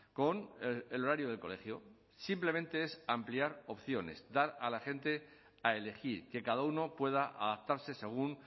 con el horario del colegio simplemente es ampliar opciones dar a la gente a elegir que cada uno pueda adaptarse según